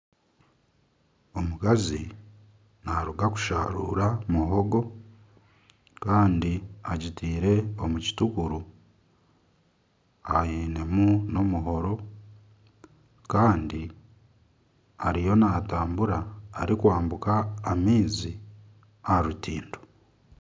Omukazi naruga kusharuura muhogo Kandi agitiire omu kitukuru ainemu n'omuhoro Kandi ariyo natambura arikwambuka amaizi aha rutindo.